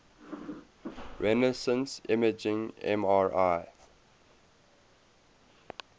resonance imaging mri